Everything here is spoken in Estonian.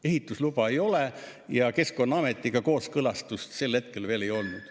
Ehitusluba ei ole ja Keskkonnaameti kooskõlastust sel hetkel veel ei olnud.